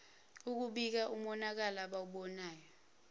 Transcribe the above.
ukubika umonakalo abawubonayo